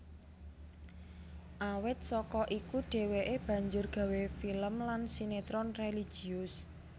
Awit saka iku dheweke banjur gawé film lan sinetron religius